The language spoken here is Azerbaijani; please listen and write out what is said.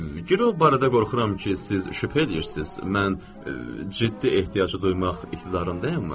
Girov barədə qorxuram ki, siz şübhə eləyirsiz, mən ciddi ehtiyacı duymaq iqtidarındayam mı?